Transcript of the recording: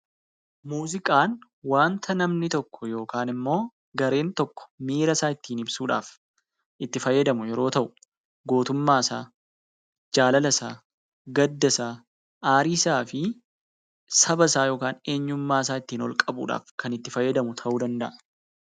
Muuziqaan waanta namni tokko yookaan immoo gareen tokko miira isaa ittiin ibsuudhaaf itti fayyadamu yeroo ta'u, gootummaa isaa, jaalala isaa, gadda isaa aarii isaa fi saba isaa yookaan eenyummaa isaa kan ittiin ol qabuudhaaf itti fayyadamu ta'uu danda'a.